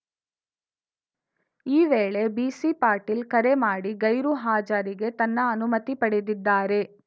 ಈ ವೇಳೆ ಬಿಸಿಪಾಟೀಲ್‌ ಕರೆ ಮಾಡಿ ಗೈರು ಹಾಜರಿಗೆ ತನ್ನ ಅನುಮತಿ ಪಡೆದಿದ್ದಾರೆ